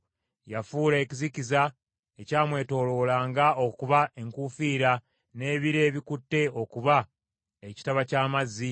Yafuula ekizikiza ekyamwetooloolanga okuba enkuufiira, n’ebire ebikutte okuba ekitaba ky’amazzi.